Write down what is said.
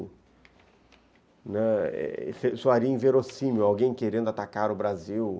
Né, isso seria inverossímil, alguém querendo atacar o Brasil.